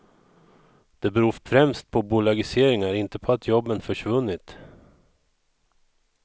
Det beror främst på bolagiseringar, inte på att jobben försvunnit.